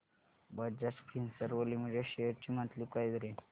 Bajaj Finserv Limited shares ची monthly price range